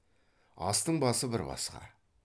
астың басы бір басқа